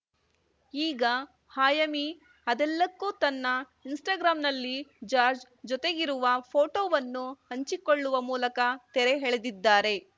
ಈಗ ಆಯಮಿ ಅದೆಲ್ಲಕ್ಕೂ ತನ್ನ ಇನ್‌ಸ್ಟಾಗ್ರಾಂನಲ್ಲಿ ಜಾರ್ಜ್ ಜೊತೆಗಿರುವ ಫೋಟೋವನ್ನು ಹಂಚಿಕೊಳ್ಳುವ ಮೂಲಕ ತೆರೆ ಎಳೆದಿದ್ದಾರೆ